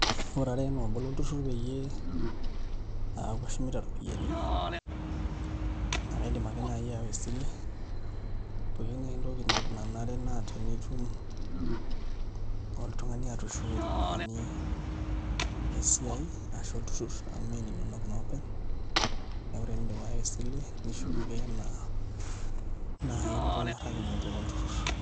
Ore ara enaa obo lolturrur peyie eeku ashumita iropiyiani naa kaidim ake naai aawa esile pooki naa entoki nanare naa tenitum oltung'ani atushuko iropiyiani esiai ashu olturrur amu mee ininonok naa openy, neeku tenindip aawa esile nishuk ake enaa naai nirukokinote olturrur.